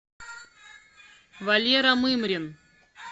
валера мымрин